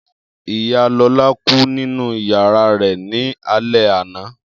Iya Lola ku ninu yara rẹ ni alẹ ana.